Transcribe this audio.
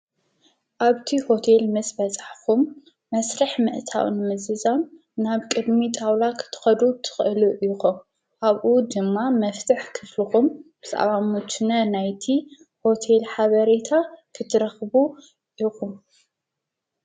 ኣብቲ ሆቴል ስስ በፃሕኹም መስርሕ መእታውን ምዝዛም ናብ ቅድሚ ጣውላ ኽትኸዱ ትኽእሉ ኢኹም፣ ኣብኡ ድማ መፍትሕ ክፍልኹም ብዛዕባሙችነ ናይቲ ሆቴል ሓበሬታ ኽትረኽቡ ኢኹም፡፡